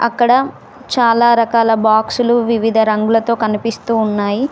అక్కడ చాలా రకాల బాక్సులు వివిధ రంగులతో కనిపిస్తూ ఉన్నాయి.